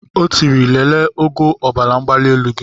O tiri lelee ogo ọbaramgbalielu gị.